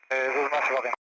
Ə, özü də paqa?